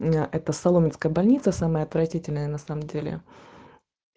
мм это соломенская больница самая отвратительная на самом деле